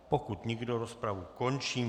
Pokud nikdo, rozpravu končím.